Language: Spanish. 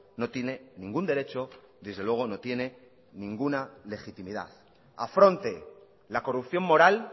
no tiene ningún derecho desde luego no tiene ninguna legitimidad afronte la corrupción moral